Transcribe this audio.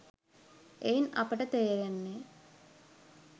එයින් අපට තේරෙන්නේ